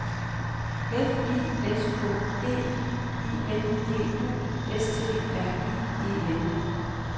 F I S K E I N D U S T R I E N